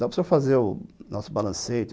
Dá para o senhor fazer o nosso balancete?